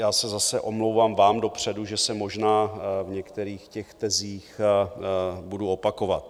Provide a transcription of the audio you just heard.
Já se zase omlouvám vám dopředu, že se možná v některých těch tezích budu opakovat.